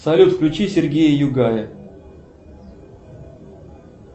салют включи сергея югая